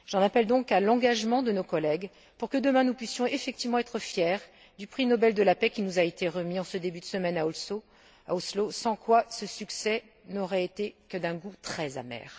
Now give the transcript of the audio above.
J'en appelle donc à l'engagement de nos collègues pour que demain nous puissions effectivement être fiers du prix Nobel de la paix qui nous a été remis en ce début de semaine à Oslo, sans quoi ce succès n'aurait été que d'un goût très amer.